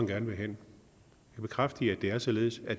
lande men det er således at